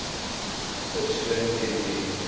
persoon teen wie